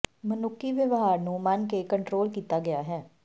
ਮਨੁੱਖੀ ਵਿਵਹਾਰ ਨੂੰ ਮਨ ਕੇ ਕੰਟਰੋਲ ਕੀਤਾ ਗਿਆ ਹੈ